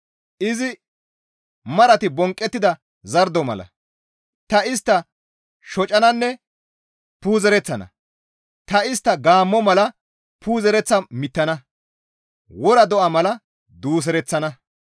Izi marati bonqqettida zardo mala ta istta shocananne puuzereththana; ta istta gaammo mala puuzereththa mittana; wora do7a mala duusereththana.